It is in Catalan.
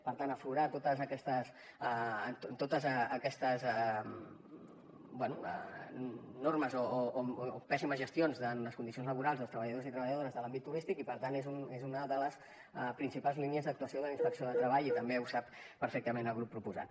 per tant aflorar totes aquestes normes o pèssimes gestions en les condicions laborals dels treballadors i treballadores de l’àmbit turístic i per tant és una de les principals línies d’actuació de la inspecció de treball i també ho sap perfectament el grup proposant